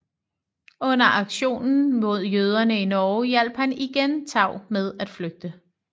Under aktionen mod jøderne i Norge hjalp han igen Tau med at flygte